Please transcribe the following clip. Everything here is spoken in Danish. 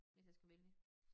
Hvis jeg skal vælge